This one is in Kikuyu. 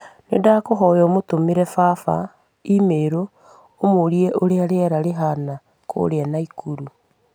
Nĩndakũhoya ũmũtũmĩre baba i-mīrū ũmũũrie ũrĩa rĩera rĩhaana kũrĩa Naikuru